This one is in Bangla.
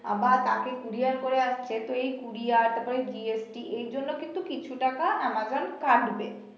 আবার তাকে কুরিয়ার করে আসছে তো এই কুরিয়ার তারপরে এর জন্য কিন্তু কিছু টাকা আমাজন কাটবে